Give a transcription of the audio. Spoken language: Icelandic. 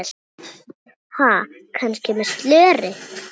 Ha, kannski með slöri?